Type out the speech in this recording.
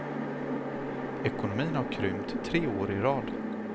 Ekonomin har krympt tre år i rad.